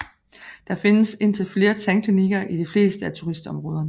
Der findes indtil flere tandklikker i de fleste af turistområderne